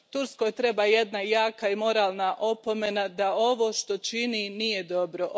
Turskoj treba jedna jaka i moralna opomena da ovo što čini nije dobro.